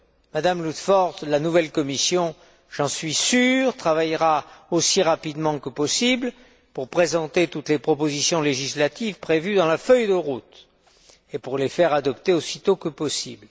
Madame Ludford, la nouvelle Commission, j'en suis sûr, travaillera aussi rapidement que possible pour présenter toutes les propositions législatives prévues dans la feuille de route et pour les faire adopter aussi tôt que possible.